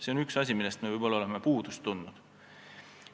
See on üks asi, millest me võib-olla oleme puudust tundnud.